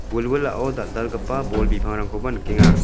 wilwilao dal·dalgipa bol bipangrangkoba nikenga.